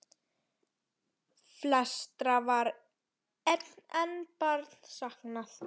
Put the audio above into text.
Flestra var enn bara saknað.